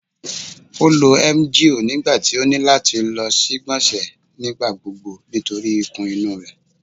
O lo emgyl nigbati o ni lati lọ si igbonse nigbagbogbo nitori ikun inu rẹ